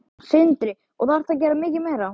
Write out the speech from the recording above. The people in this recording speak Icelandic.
Sindri: Og þarftu að gera mikið meira?